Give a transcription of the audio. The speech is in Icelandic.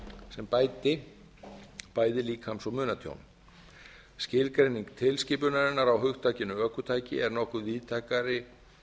sem bæti bæði líkams og munatjón skilgreining skilgreiningarinnar á hugtakinu ökutæki er nokkuð víðtækari